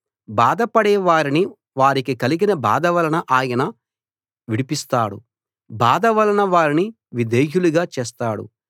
బాధపడే వారిని వారికి కలిగిన బాధ వలన ఆయన విడిపిస్తాడు బాధ వలన వారిని విధేయులుగా చేస్తాడు